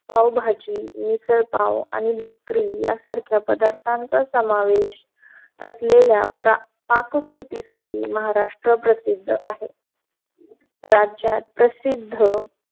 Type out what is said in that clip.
पावभाजी मिसळ पाव आणि भाकरी यासारखं पदार्थांचा समावेश असलेल्या पाककृतीसाठी महाराष्ट्र प्रसिद्ध आहे. राज्यात प्रसिद्ध